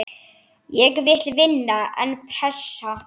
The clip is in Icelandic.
Ég vil vinna, en pressa?